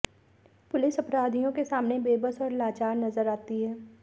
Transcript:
police अपराधियों के सामने बेबस और लाचार नजर आती है